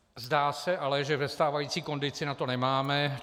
Zdá se ale, že ve stávající kondici na to nemáme.